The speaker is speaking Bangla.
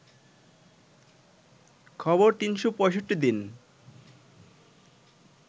খবর ৩৬৫ দিন